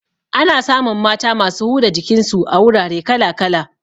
Ana samun mata masu huda jikin su a wurare kala kala